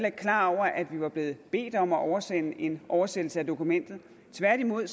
ikke klar over at vi var blevet bedt om at oversende en oversættelse af dokumentet tværtimod